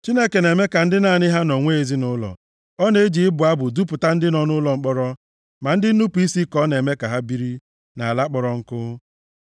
Chineke na-eme ka ndị naanị ha nọ nwee ezinaụlọ, ọ na-eji ịbụ abụ dupụta ndị nọ nʼụlọ mkpọrọ, ma ndị nnupu isi ka ọ na-eme ka ha biri, nʼala kpọrọ nkụ.